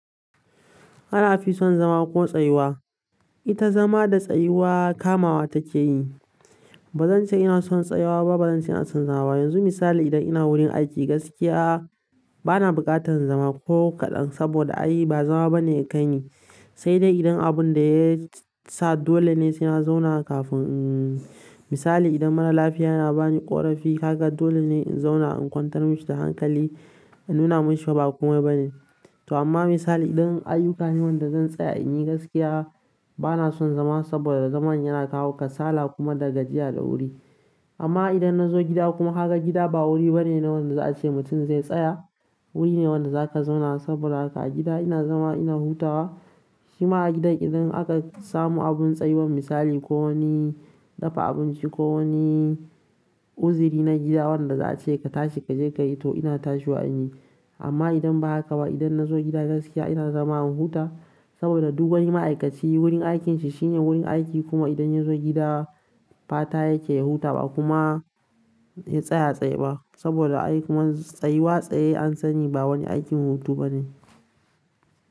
Ana fison zama ko tsayuwa. Ita zama da tsayuwa kamawa take yi. Ba zan ce ina son tsayawa ba, ba zan ce ina son zama ba. Yanzu misali idan ina wurin aiki gaskiya bana buƙatar zama ko kaɗan saboda a yi ba zama bane yakai ni. Sai dai idan abun da ya sa dole ne sai na zauna kafin, umm, misali idan mara lafiya yana bani ƙorafi kaga dole ne in zauna in kwantar mashi da hankali, in nuna mashi ba komai bane. To amma misali idan ayyuka ne wanda zan tsaya in yi gaskiya bana son zama saboda zaman yana kawo kasala kuma da gajiya da wuri. Amma idan na zo gida kuma kaga gida ba wuri bane na wanda za a ce mutum zai tsaya. Wuri ne wanda za ka zauna saboda haka a gida ina zama ina hutawa. Shima a gida idan aka samu abun tsayuwan misali ko wani dafa abinci ko wani uziri na gida wanda za a ce ka tashi ka je ka yi to ina tashiwa in yi. Amma idan ba haka ba idan na zo gida gaskiya ina zama ina huta saboda duk wani ma'aikaci wurin aikinsa shine wurin aiki kuma idan ya zo gida fata yake ya huta ba kuma ya tsaya a tsaye ba saboda ayi kuma tsayuwa tsaye an sani ba wani aikin hutu bane.